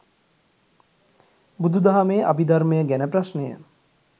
බුදු දහමේ අභිධර්මය ගැන ප්‍රශ්නය